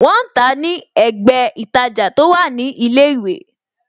Wọn ń tàá ní ẹ̀gbẹ́ ītajà tó wà ní ilé ìwé